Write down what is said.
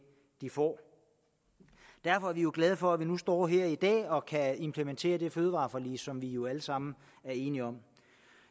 de får derfor er vi jo glade for at vi nu står her i dag og kan implementere det fødevareforlig som vi jo alle sammen er enige om